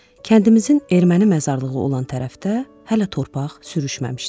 Kəndimizin erməni məzarlığı olan tərəfdə hələ torpaq sürüşməmişdi.